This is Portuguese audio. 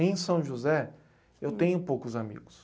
Em São José, eu tenho poucos amigos.